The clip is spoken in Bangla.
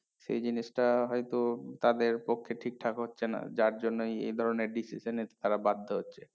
সেই জিনিসটা হয়তো তাদের পক্ষে ঠিকঠাক হচ্ছে না যার জন্যই এই ধরণের decision এ তারা বাধ্য হচ্ছে